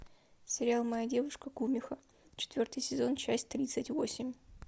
сериал моя девушка кумихо четвертый сезон часть тридцать восемь